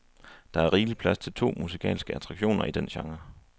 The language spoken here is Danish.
Der er rigelig plads til to musikalske attraktioner i den genre.